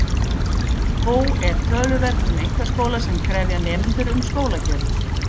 Þó er töluvert um einkaskóla sem krefja nemendur um skólagjöld.